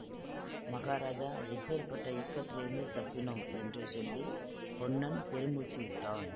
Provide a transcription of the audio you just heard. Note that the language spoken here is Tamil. மகாராஜா எப்பேர்ப்பட்ட இக்கட்டிலிருந்து தப்பினோம் என்று சொல்லி பொன்னன் பெருமூச்சு விட்டான்